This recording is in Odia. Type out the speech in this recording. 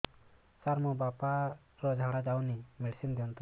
ସାର ମୋର ବାପା ର ଝାଡା ଯାଉନି ମେଡିସିନ ଦିଅନ୍ତୁ